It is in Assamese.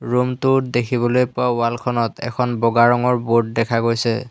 ৰোম টোত দেখিবলৈ পোৱা ৱাল খনত এখন বগা ৰঙৰ বোৰ্ড দেখা গৈছে।